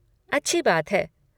अच्छी बात है।